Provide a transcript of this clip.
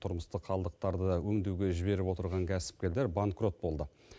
тұрмыстық қалдықтарды өңдеуге жіберіп отырған кәсіпкерлер банкрот болды